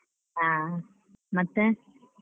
ಆ ಮತ್ತೆ.